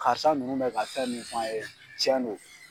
Karisa nunnu bɛ ka fɛn min f'an ye tiɲɛ don.